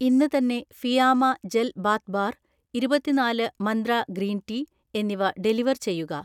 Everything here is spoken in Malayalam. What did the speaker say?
ഇന്ന് തന്നെ ഫിയാമ ജെൽ ബാത്ത് ബാർ, ഇരുപത്തി നാല് മന്ത്ര ഗ്രീൻ ടീ എന്നിവ ഡെലിവർ ചെയ്യുക